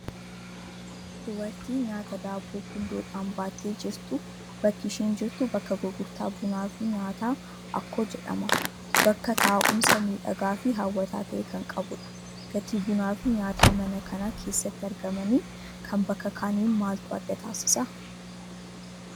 Dubartii nyaata daabboo gundoodhaan baattee jirtu, bakki isheen jirtu bakka gurgurtaa bunaa fi nyaataa Akkoo jedhama. Bakka taa'umsa miidhagaa fi hawwataa ta'e kan qabudha. Gatii bunaa fi nyaataa mana kana keessatti argamanii kan bakka kaaniin maaltu adda taasisa?